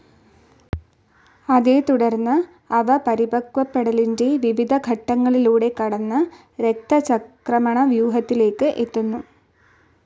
അതേത്തുടർന്ന് അവ പരിപക്വപ്പെടലിൻ്റെ വിവിധ ഘട്ടങ്ങളിലൂടെ കടന്ന് രക്തചംക്രമണവ്യൂഹത്തിലേക്ക് എത്തുന്നു.